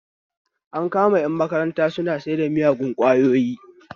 An kama ƴan makaranta suna saida miyagun ƙwayoyi